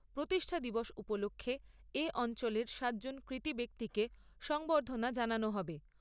প্রতিষ্ঠা দিবস উপলক্ষে এ অঞ্চলের সাতজন কৃতি ব্যক্তিকে সংবর্ধনা জানানো হবে।